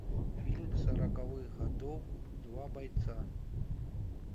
фильм сороковых годов два бойца